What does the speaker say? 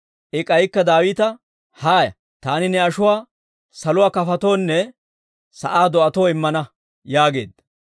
I k'aykka Daawita, «Haaya; taani ne ashuwaa saluwaa kafotoonne sa'aa do'atoo immana» yaageedda.